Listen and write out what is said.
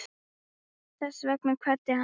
Þess vegna kvaddi hann.